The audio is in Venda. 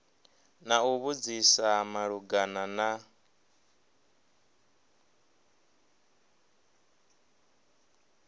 na u vhudzisa malugana na